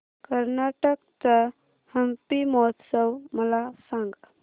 कर्नाटक चा हम्पी महोत्सव मला सांग